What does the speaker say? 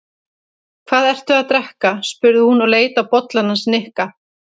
Hvað ertu að drekka? spurði hún og leit á bollann hans Nikka.